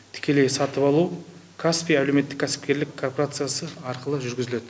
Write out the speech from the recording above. тікелей сатып алу каспи әлеуметтік кәсіпкерлік коорпорациясы арқылы жүргізіледі